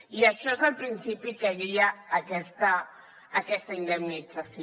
i això és el principi que guia aquesta indemnització